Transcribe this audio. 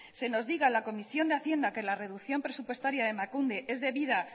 se nos diga en la comisión de hacienda que la reducción presupuestaria de emakunde es debida